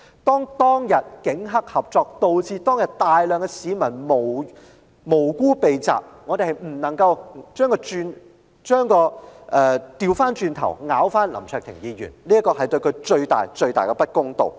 當天警黑合作，以致大量無辜市民遇襲，我們不能夠反咬林卓廷議員一口，這會對他造成最大的不公。